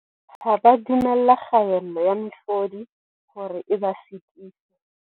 Ha ba a dumella kgaello ya mehlodi hore e ba sitise.